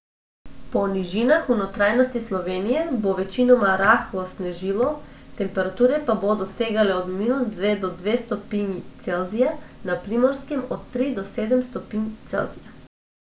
Po nižinah v notranjosti Slovenije bo večinoma rahlo snežilo, temperature pa bodo segale od minus dve do dve stopinji Celzija, na Primorskem od tri do sedem stopinj Celzija.